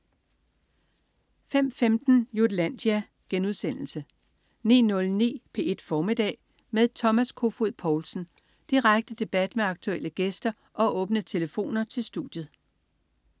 05.15 Jutlandia* 09.09 P1 Formiddag med Thomas Kofoed Poulsen. Direkte debat med aktuelle gæster og åbne telefoner til studiet